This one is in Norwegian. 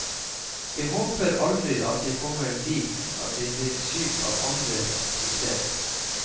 Jeg håper aldri at jeg kommer dit at jeg blir syk av andres suksess.